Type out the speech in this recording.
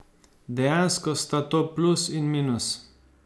Dejansko sta to plus in minus.